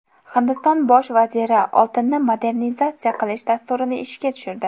Hindiston bosh vaziri oltinni monetizatsiya qilish dasturini ishga tushirdi.